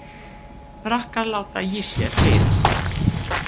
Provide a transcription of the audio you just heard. Frakkar láta í sér heyra